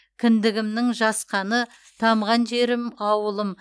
кіндігімнің жас қаны тамған жерім ауылым